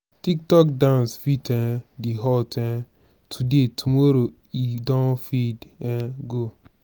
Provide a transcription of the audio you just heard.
tic tok dance fit um dey hot um today tomorrow e don fade um go